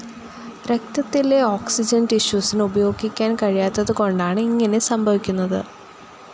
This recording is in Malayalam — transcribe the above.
രക്തത്തിലെ ഓക്സിജൻ ടിഷ്യൂസിനു ഉപയോഗിക്കാൻ കഴിയാത്തതുകൊണ്ടാണ് ഇങ്ങനെ സംഭവിക്കുന്നത്.